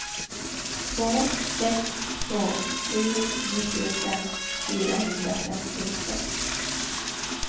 två sex två sju nittiofem fyrahundrafemtiosex